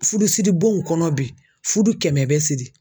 Fudusiri bonw kɔnɔ bi fudu kɛmɛ bɛ siri.